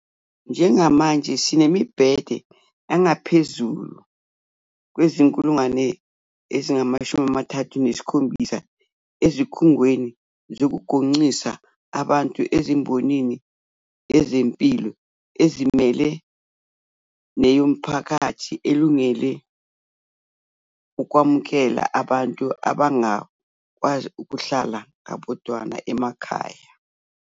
Njengamanje sinemibhede engaphezu kweziyi-37,000 ezikhungweni zokugonqisa abantu embonini yezempilo ezimele neyomphakathi, elungele ukwamukela abantu abangakwazi ukuhlala ngabodwana emakhaya.